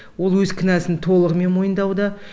ол өз кінәсін толығымен мойындауда